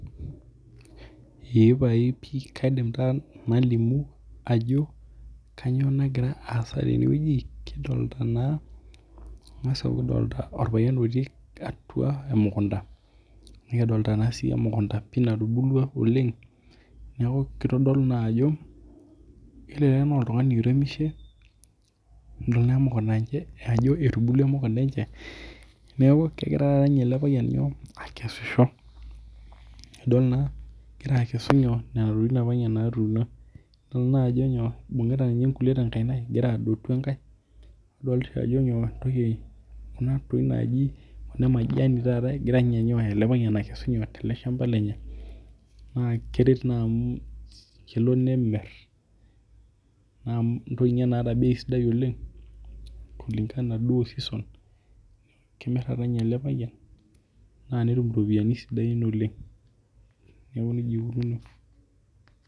Eeh pae pii kaidim taa nalimu ajo kainyo nagira aasa teneweji ore kuna kangas adolita orpayian otii atua emukunta nadolita sii emukunta natubulua oleng' neeku kitodolu naa ajo elelek na oltung'ani oiremishe ena mukunta aiko jii ajo etubulua ena mukunta enye neeku kegira taata ele payian nyoo? Akesisho. Ajo naa egira akesu nena tokitin apaa natuuno idol naa ajo nyoo? Ibingita egira adotu enkae nadolita ajo nyoo enatiu najii ena majani taataa egira ninye aiko nyy? aitolesha tele shamba lenye naa kiroahii naa mu kelo nemir naa atum ninye tata bei sidai oleng' kulingana duoo oo season kemir taata ninye ele payian naa netum iropiani sidain oleng' neeku neija ikununo.